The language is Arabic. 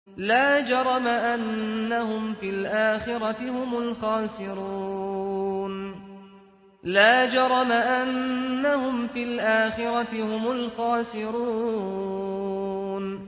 لَا جَرَمَ أَنَّهُمْ فِي الْآخِرَةِ هُمُ الْخَاسِرُونَ